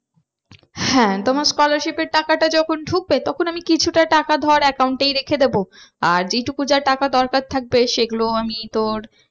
হ্যাঁ তো আমার scholarship এর টাকাটা যখন ঢুকবে তখন আমি কিছুটা টাকা ধর account এই রেখে দেবো। আর যেই টুকু যা টাকা দরকার থাকবে সেগুলো আমি তোর